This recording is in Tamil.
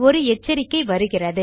ஒரு எச்சரிக்கை வருகிறது